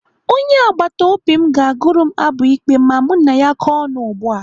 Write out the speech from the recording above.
Onye agbataobi m ga-agụrụ m abụ ikpe ma mụ na ya kọọ ọnụ ugbu a.